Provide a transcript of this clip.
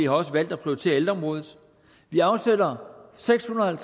har også valgt at prioritere ældreområdet vi afsætter seks hundrede og